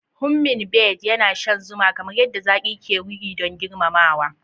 hummingbird yana shan zuma, kamar yadda zaki ke ruri don girmamawa.